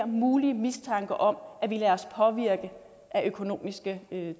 mulige mistanke om at vi lader os påvirke af økonomiske